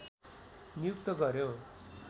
नियुक्त गर्‍यो